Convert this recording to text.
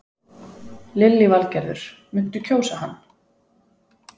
Lillý Valgerður: Muntu kjósa hann?